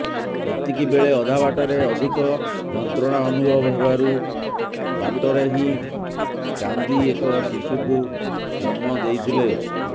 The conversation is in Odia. ଏତିକି ବେଳେ ଅଧାବାଟରେ ଅଧିକ ଯନ୍ତ୍ରଣା ଅନୁଭବ ହେବାରୁ ବାଟରେ ହିଁ କାନ୍ଦ୍ରି ଏକ ଶିଶୁକୁ ଜନ୍ମ ଦେଇଥିଲେ